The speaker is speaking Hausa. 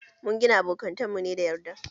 Mun gina abokantan mu ne da yarda